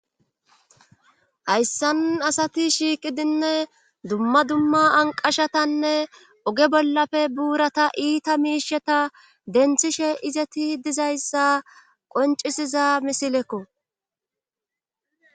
Hayssan asati shiiqidinne dumma dumma anqashatanne oge bollafe buurata iita miisheta denthishe izeti dizayssa qoncisiza misilekko